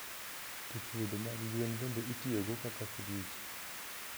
To chuodho mag gwen bende itiyogo kaka frij.